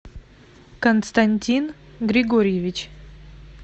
константин григорьевич